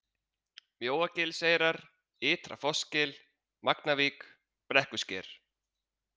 Mjóagilseyrar, Ytra Fossgil, Magnavík, Brekkusker